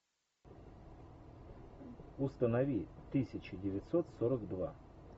установи тысяча девятьсот сорок два